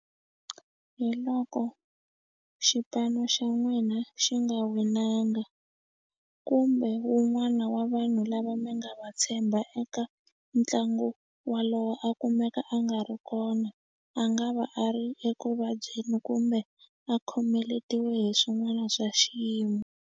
Hi loko xipano xa n'wina xi nga winanga kumbe wun'wana wa vanhu lava mi nga va tshemba eka ntlangu walowo a kumeka a nga ri kona a nga va a ri ekuvabyeni kumbe a khomeletiwe hi swin'wana swa xiyimo.